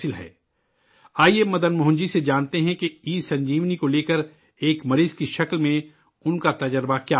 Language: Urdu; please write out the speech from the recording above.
آئیے، مدن موہن جی سے جانتے ہیں کہ ای سنجیونی کو لے کر ایک مریض کے طور پر ان کا تجربہ کیا رہا ہے؟